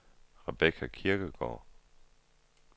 Rebecca Kirkegaard